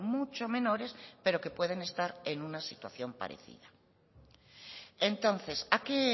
mucho menores pero que pueden estar en una situación parecida entonces a qué